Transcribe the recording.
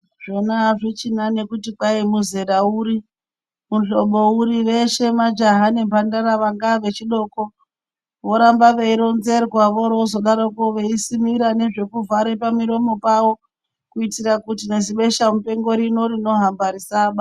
Zvona azvichina nekuti Kwai muzera uri, muhlobo uri veshe majaha nemhandara vanga a vechidoko voramba veironzerwa voroozodarokwo veizosimira nekuvhara pamuromo pavo kuitira nezibesha mushando rino rinohamba risazovabata.